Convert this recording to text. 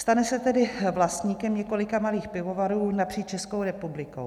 Stane se tedy vlastníkem několika malých pivovarů napříč Českou republikou.